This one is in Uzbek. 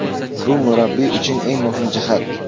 Bu murabbiy uchun eng muhim jihat.